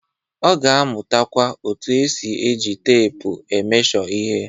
Ọ ga-amụtakwa otu esi eji teepu e mesho ihe.